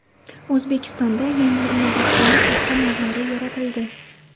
O‘zbekistonda yangi innovatsion paxta navlari yaratildi.